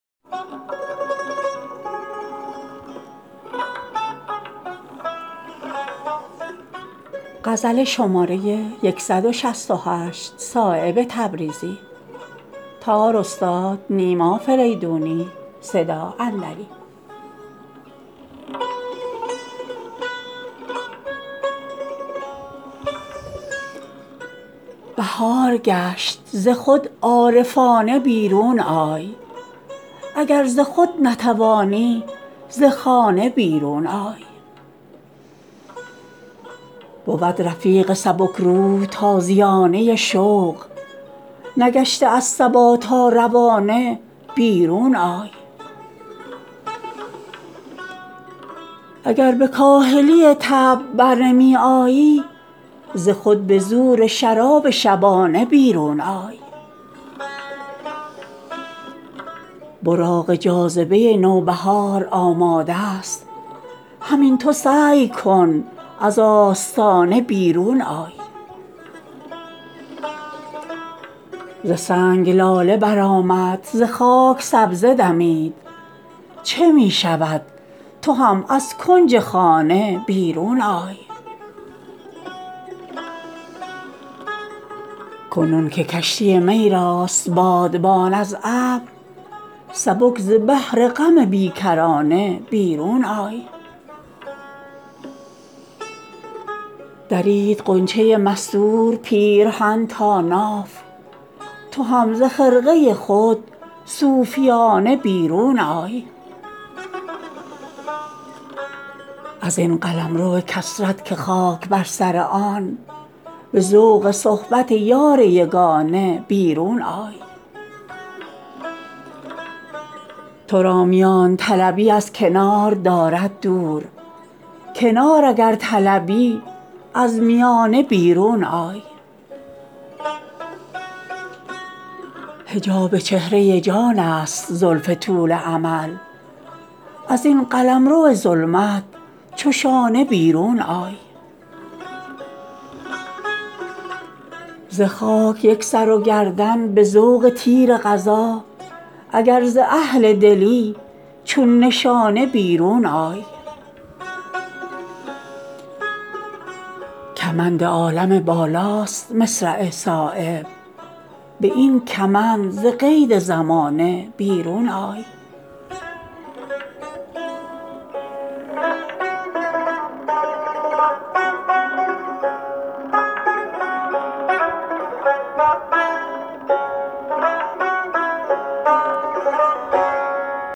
بهار گشت ز خود عارفانه بیرون آی اگر ز خود نتوانی ز خانه بیرون آی بود رفیق سبکروح تازیانه شوق نگشته است صبا تا روانه بیرون آی اگر به کاهلی طبع برنمی آیی ز خود به زور شراب شبانه بیرون آی براق جاذبه نوبهار آماده است همین تو سعی کن از آستانه بیرون آی اسیر پرده ناموس چند خواهی بود ازین لباس زنان عارفانه بیرون آی ز سنگ لاله برآمد ز خاک سبزه دمید چه می شود تو هم از کنج خانه بیرون آی صفیر مرغ سحر تازیانه شوق است ز بند خویش به این تازیانه بیرون آی کنون که کشتی می راست بادبان از ابر سبک ز بحر غم بیکرانه بیرون آی چو صبح فیض بهار شکوفه یک دو دم است چه فکر می کنی از آشیانه بیرون آی هوا ز ناله مرغان شده است پرده ساز چه حاجت است به چنگ و چغانه بیرون آی درید غنچه مستور پیرهن تا ناف تو هم ز خرقه خود صوفیانه بیرون آی چه همچو صورت دیوار محو خانه شدی قدم به راه نه از فکر خانه بیرون آی ازین قلمرو کثرت که خاک بر سر آن به ذوق صحبت یار یگانه بیرون آی ترا میان طلبی از کنار دارد دور کنار اگرطلبی از میانه بیرون آی حجاب چهره جان است زلف طول امل ازین قلمرو ظلمت چو شانه بیرون آی ز خاک یک سر و گردن به ذوق تیر قضا اگر ز اهل دلی چون نشانه بیرون آی کمند عالم بالاست مصرع صایب به این کمند ز قید زمانه بیرون آی